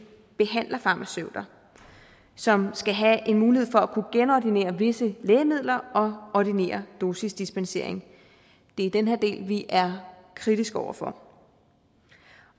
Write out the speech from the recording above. behandlerfarmaceuter som skal have mulighed for at kunne genordinere visse lægemidler og ordinere dosisdispensering det er den her del vi er kritiske over for